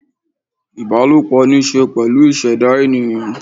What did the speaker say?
ìbálòpọ̀ ní í ṣe pẹ̀lú ìṣẹ̀dá ènìyàn